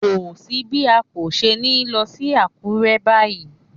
Kò sí bí a kò ṣe ní lọ sí Àkúrẹ́ báyìí.